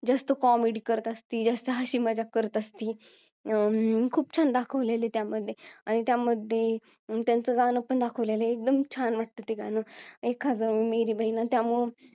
जास्त comedy करत असती हसी मजाक करत असती अं खूप छान दाखवलेला आहे त्यामध्ये आणि त्यामध्ये त्यांचं गाणं पण दाखवलेला आहे एकदम छान वाटतं ते गाणं एकदम छान वाटत ते गाणं एखाद मेरी बेहना त्यामुळ